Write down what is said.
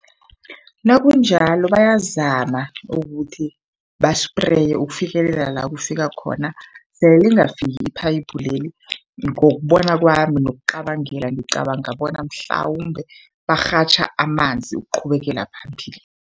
Nakunjalo bayazama ukuthi basipreye ukufikelela la kufika khona. Sele lingafiki iphayiphu leli, ngokubona kwami nokucabangela, ngicabanga bona mhlawumbe barhatjha amanzi ukuqhubekela phambili.